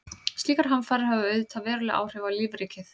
Slíkar hamfarir hafa auðvitað veruleg áhrif á lífríkið.